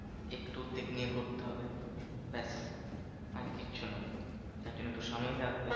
উদ্বেগ নিয়ে ঘুরতে হবে, ব্যাস আর কিচ্ছু না। তার জন্য একটু সময় লাগবে।